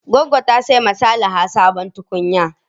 Goggo ta saya wa Salaha sabon tukunya.